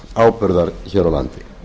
köfnunarefnisáburðar hér á landi